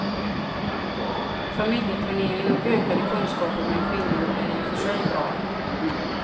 Familjeplanering och ökade kunskaper bland kvinnor är i och för sig bra.